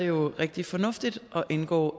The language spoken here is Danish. jo rigtig fornuftigt at indgå